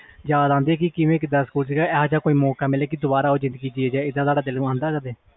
ਯਾਦ ਆਂਦੀ ਹੋਣੀ ਕਿ ਇਹੋ ਜੇਹਾ ਦੁਬਾਰਾ ਮੌਕਾ ਮਿਲੇ